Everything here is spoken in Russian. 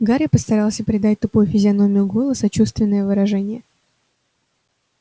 гарри постарался придать тупой физиономии гойла сочувственное выражение